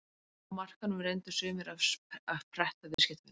Á markaðnum reyndu sumir að pretta viðskiptavininn.